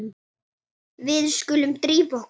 Við skulum drífa okkur.